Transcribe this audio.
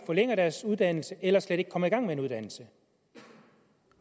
forlænger deres uddannelse eller som slet ikke kommer i gang med en uddannelse